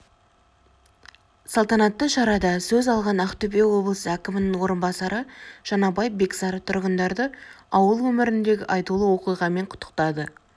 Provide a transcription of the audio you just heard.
салтанатты шарада сөз алған ақтөбе облысы әкімінің орынбасары жаңабай бексары тұрғындарды ауыл өміріндегі айтулы оқиғамен құттықтады